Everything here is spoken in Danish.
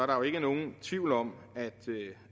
der ikke er nogen tvivl om